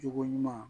Cogo ɲuman